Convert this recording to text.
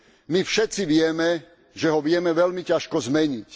My všetci vieme, že ho vieme veľmi ťažko zmeniť.